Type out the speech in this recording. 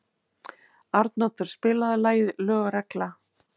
Arnoddur, spilaðu lagið „Lög og regla“.